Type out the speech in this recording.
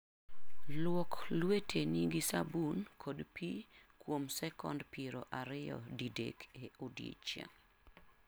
Luok lweteni gi sabun kod pi kuom sekonde piero ariyo didek e odiechieng'.